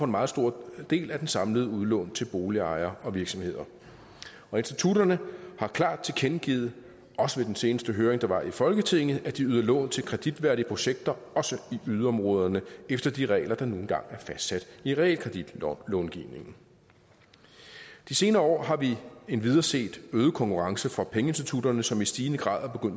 meget stor del af det samlede udlån til boligejere og virksomheder og institutterne har klart tilkendegivet også ved den seneste høring der var i folketinget at de yder lån til kreditværdige projekter også i yderområderne efter de regler der nu engang er fastsat i realkreditlovgivningen de senere år har vi endvidere set øget konkurrence fra pengeinstitutterne som i stigende grad